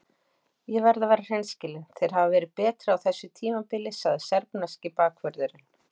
Ég verð að vera hreinskilinn- þeir hafa verið betri á þessu tímabili, sagði serbneski bakvörðurinn.